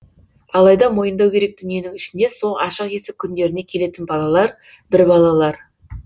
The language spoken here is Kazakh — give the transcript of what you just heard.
алайда мойындау керек дүниенің ішінде сол ашық есік күндеріне келетін балалар бір балалар